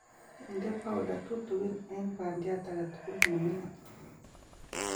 inde powder tutugin en bandiat age tugul ne mingin